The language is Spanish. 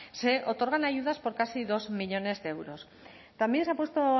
se otorgan ayudas por casi dos millónes de euros también se ha puesto